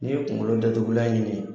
N'i ye kunkolo datugulan ɲini